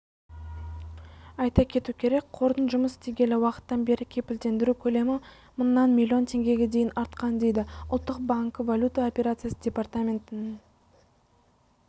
айта кету керек қордың жұмыс істегелі уақыттан бері кепілдендіру көлемі мыңнан миллион теңгеге дейін артқан дейді ұлттық банкі валюта операциясы департаментінің